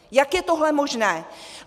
Jak je tohle možné?